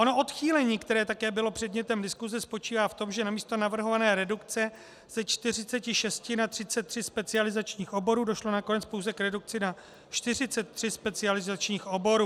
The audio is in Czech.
Ono odchýlení, které také bylo předmětem diskuse, spočívá v tom, že namísto navrhované redukce ze 46 na 33 specializačních oborů došlo nakonec pouze k redukci na 43 specializačních oborů.